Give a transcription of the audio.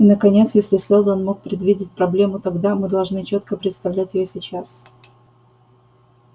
и наконец если сэлдон мог предвидеть проблему тогда мы должны чётко представлять её сейчас